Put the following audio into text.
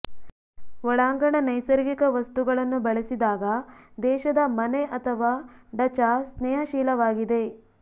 ಒಳಾಂಗಣ ನೈಸರ್ಗಿಕ ವಸ್ತುಗಳನ್ನು ಬಳಸಿದಾಗ ದೇಶದ ಮನೆ ಅಥವಾ ಡಚಾ ಸ್ನೇಹಶೀಲವಾಗಿದೆ